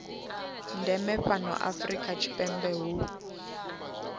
ndeme fhano afrika tshipembe hu